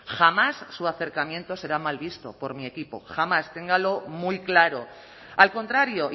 jamás su acercamiento será mal visto por mi equipo jamás téngalo muy claro al contrario